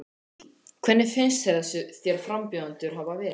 Lillý: Hvernig finnst þér frambjóðendurnir hafa verið?